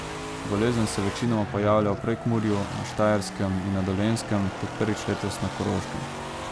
Bolezen se večinoma pojavlja v Prekmurju, na Štajerskem in na Dolenjskem ter prvič letos na Koroškem.